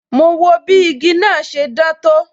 Mo wo bí igi náà ṣe dán tó